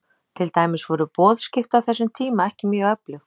Til dæmis voru boðskipti á þessum tíma ekki mjög öflug.